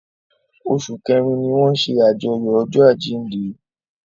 Oṣù kẹrin ni wọ́n ṣe àyájọ́ ọjọ́ àjíǹde.